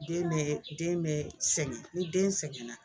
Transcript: Den bɛ den bɛɛ sɛgɛn ni den sɛgɛnna